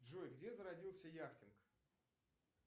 джой где зародился яхтинг